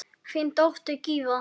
Þín dóttir Gyða.